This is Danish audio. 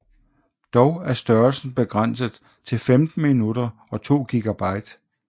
Dog er størrelsen begrænset til 15 minutter og 2 GB